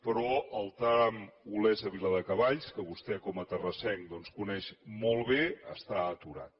però el tram olesa viladecavalls que vostè com a terrassenc doncs coneix molt bé està aturat